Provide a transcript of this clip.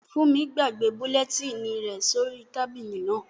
Fúnmi gbàgbé bulẹtínì rẹ̀ sí orí tábìlì náà